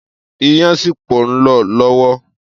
Iyán sípò nlọ lọ́wọ́